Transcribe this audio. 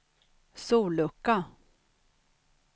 sollucka